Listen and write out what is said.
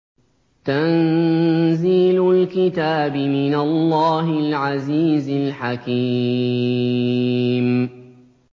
تَنزِيلُ الْكِتَابِ مِنَ اللَّهِ الْعَزِيزِ الْحَكِيمِ